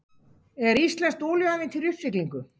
Er íslenskt olíuævintýri í uppsiglingu?